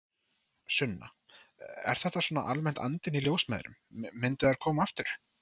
Sunna: Er þetta svona almennt andinn í ljósmæðrum, myndu þær koma aftur?